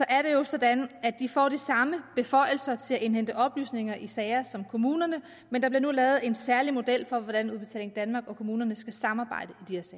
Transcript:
er det jo sådan at de får de samme beføjelser til at indhente oplysninger i sagerne som kommunerne men der bliver nu lavet en særlig model for hvordan udbetaling danmark og kommunerne skal samarbejde